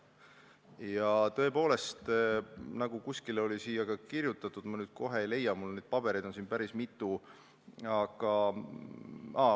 " Ja tõepoolest, nagu siin kuskil oli kirjutatud – ma nüüd kohe ei leia, mul on neid pabereid päris mitu, aga ...